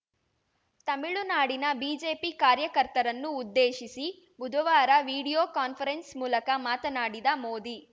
ತಮಿಳುನಾಡಿನ ಬಿಜೆಪಿ ಕಾರ್ಯಕರ್ತರನ್ನು ಉದ್ದೇಶಿಸಿ ಬುಧವಾರ ವಿಡಿಯೋ ಕಾನ್ಫರೆನ್ಸ್‌ ಮೂಲಕ ಮಾತನಾಡಿದ ಮೋದಿ